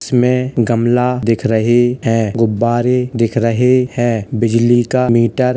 इसमें गमला दिख रहे है। गुब्बारे दिख रहे हैं। बिजली का मीटर --